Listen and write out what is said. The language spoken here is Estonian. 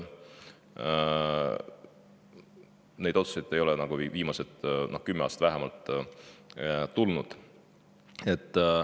Selliseid otsuseid ei ole vähemalt viimased kümme aastat enam olnud.